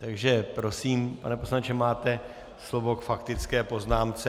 Takže prosím, pane poslanče, máte slovo k faktické poznámce.